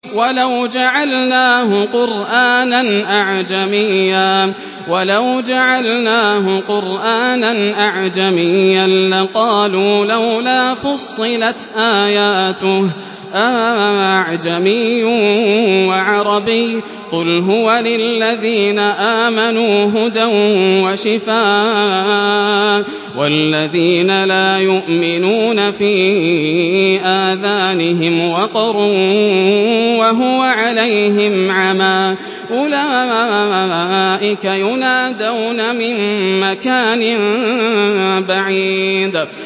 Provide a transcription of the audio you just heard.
وَلَوْ جَعَلْنَاهُ قُرْآنًا أَعْجَمِيًّا لَّقَالُوا لَوْلَا فُصِّلَتْ آيَاتُهُ ۖ أَأَعْجَمِيٌّ وَعَرَبِيٌّ ۗ قُلْ هُوَ لِلَّذِينَ آمَنُوا هُدًى وَشِفَاءٌ ۖ وَالَّذِينَ لَا يُؤْمِنُونَ فِي آذَانِهِمْ وَقْرٌ وَهُوَ عَلَيْهِمْ عَمًى ۚ أُولَٰئِكَ يُنَادَوْنَ مِن مَّكَانٍ بَعِيدٍ